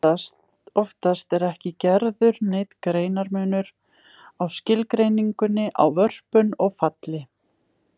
Oftast er ekki gerður neinn greinarmunur á skilgreiningunni á vörpun og falli.